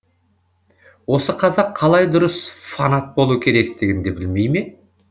осы қазақ қалай дұрыс фанат болу керектігін де білмей ме